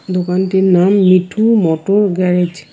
দোকানটির নাম Mithu motor garage.